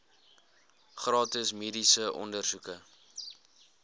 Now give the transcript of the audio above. gratis mediese ondersoeke